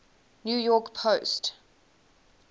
new york post